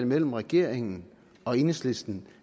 mellem regeringen og enhedslisten